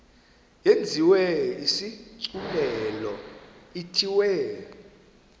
yenziwe isigculelo ithiwe